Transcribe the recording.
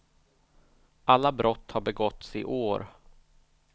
Alla brott har begåtts i år.